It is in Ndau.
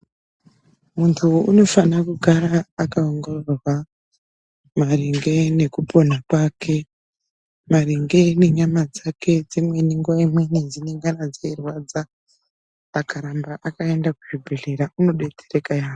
Muntu unofana kugara akaongororwa maringe nekupona kwake, maringe ngenyama dzake dzimweni dzingadai dzei rwadza akaramba akaenda kuzvibhedhlera unobetsereka yamho.